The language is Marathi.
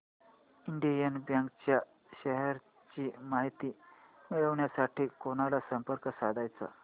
इंडियन बँक च्या शेअर्स ची माहिती मिळविण्यासाठी कोणाला संपर्क साधायचा